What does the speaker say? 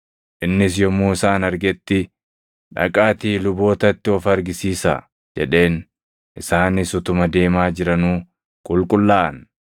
Innis yommuu isaan argetti, “Dhaqaatii lubootatti of argisiisaa!” jedheen; isaanis utuma deemaa jiranuu qulqullaaʼan.